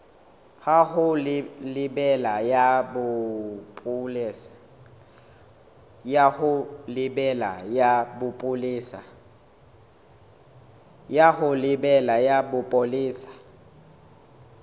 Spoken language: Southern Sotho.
ya ho lebela ya bopolesa